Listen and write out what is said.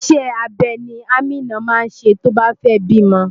Iṣẹ́ abẹ ni Amina máa ṣe tó bá fẹ́ bímọ.